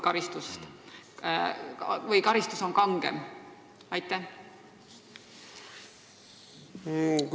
Kas tema karistus on kangem?